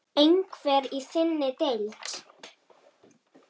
Einhver í þinni deild?